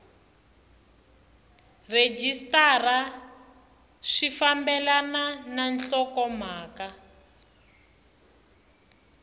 rhejisitara swi fambelana na nhlokomhaka